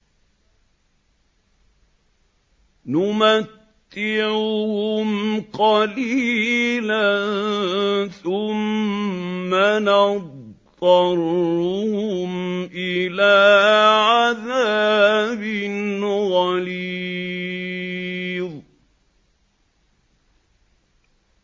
نُمَتِّعُهُمْ قَلِيلًا ثُمَّ نَضْطَرُّهُمْ إِلَىٰ عَذَابٍ غَلِيظٍ